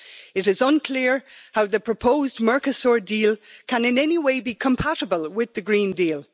It is unclear how the proposed Mercosur deal can in any way be compatible with the Green Deal.